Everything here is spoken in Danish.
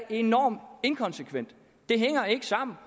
enormt inkonsekvent det hænger ikke sammen